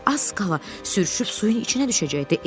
O az qala sürüşüb suyun içinə düşəcəkdi.